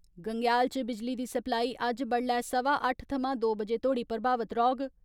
गंग्याल च बिजली दी सप्लाई अज्ज बड्डलै सवा अट्ठ थमां दो बजे तोड़ी प्रभावित रौहग।